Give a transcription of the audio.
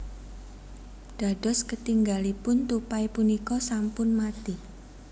Dados ketinggalipun tupai punika sampun mati